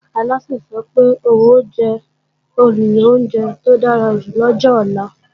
Alásè sọ pé òun ò jẹ́ olùyan oúnjẹ tó dára jù lọ́jọ ọ̀la